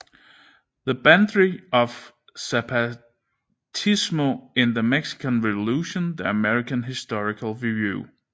The Banditry of Zapatismo in the Mexican Revolution The American Historical Review